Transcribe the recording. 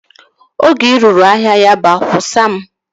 Oge ị ruru ahịa Yaba, kwusaa m